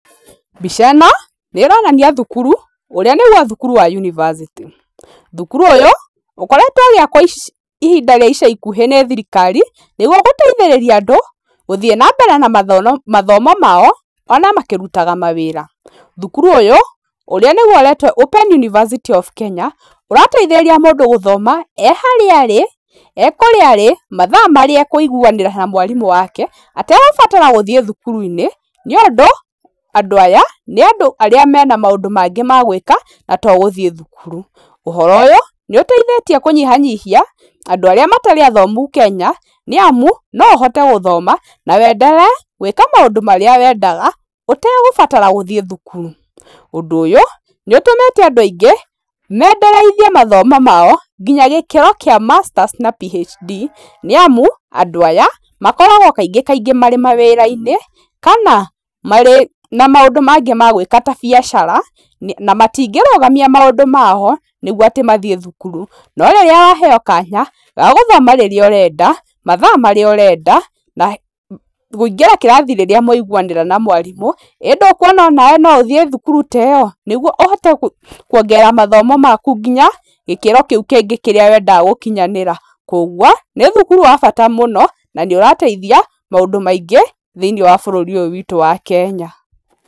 Mbica ĩno nĩĩronania thukuru ũrĩa nĩguo thukuru wa yunibacĩtĩ. Thukuru ũyũ ũkoretwo ũgĩakwo kahinda ka ica ikuhĩ nĩ thirikari nĩguo gũteithĩrĩria andũ gũthiĩ na mbere na mathomo mao ona makĩrutaga mawĩra. Thukuru ũyũ ũrĩa ũretwo Open University of Kenya ũrateithĩrĩria mũndũ gũthoma e harĩa arĩ, e kũrĩa arĩ mathaa marĩa ekũiguanĩra na mwarimũ wake ategũbatara gũthiĩ thukuru-inĩ. Nĩũndũ andũ aya nĩ andũ arĩa marĩ na maũndũ mangĩ magwĩka no to gũthiĩ thukuru. Ũhoro ũyũ nĩũteitĩtie kũnyihanyihia andũ arĩa matarĩ athomu Kenya nĩamu no ũhote guthoma na ũenderee gwĩka maũndũ marĩa wekaga ũtegũbatara gũthiĩ thukuru. Ũndũ ũyũ nĩ ũtũmĩte andũ aingĩ maendereithie mathomo mao nginya gĩkĩro kĩa masters na PHD nĩamu andũ aya aingĩ kaingĩ makoragwo marĩ mawĩra-inĩ kana marĩ na maũndũ magĩ magwĩka ta biacara na matingĩrũgamia maũndũ mao nĩguo atĩ mathiĩ thukuru no rĩrĩa waheyo kanya ga gũthoma rĩrĩa ũrenda, mathaa marĩa ũrenda na kũingĩra kĩrathi rĩrĩa mwaiguanĩra na mwarimũ ĩndũkuona onawe no ũthiĩ thukuru ta ĩyo? Nĩguo ũhote kuongerera mathomo maku nginya gĩkĩro kĩu kĩngĩ wendaga gũkinyanĩra. Koguo nĩ thukuru wa bata mũno na nĩ ũrateithia maũndũ maingĩ thĩinĩ wa bũrũri ũyũ witũ wa Kenya.